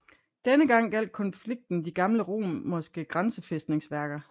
Denne gang gjaldt konflikten de gamle romerske grænsefæstningsværker